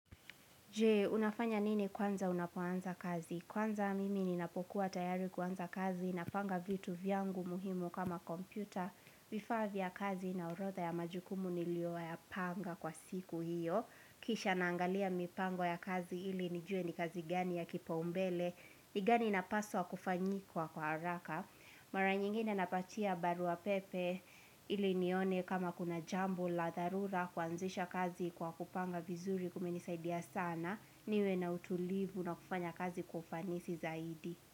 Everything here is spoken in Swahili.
Jee, unafanya nini kwanza unapoanza kazi? Kwanza mimi ninapokuwa tayari kuanza kazi, napanga vitu vyangu muhimu kama kompyuta, vifaa vya kazi na orodha ya majukumu nilioyapanga kwa siku hiyo. Kisha naangalia mipango ya kazi ili nijue ni kazi gani ya kipaumbele, ni gani napaswa kufanyikwa kwa haraka. Mara nyingine napatia barua pepe ili nione kama kuna jambo la dharura kuanzisha kazi kwa kupanga vizuri kumenisaidia sana niwe na utulivu na kufanya kazi kwa ufanisi zaidi.